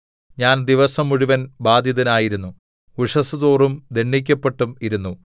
ഞാൻ ദിവസം മുഴുവൻ ബാധിതനായിരുന്നു ഉഷസ്സുതോറും ദണ്ഡിക്കപ്പെട്ടും ഇരുന്നു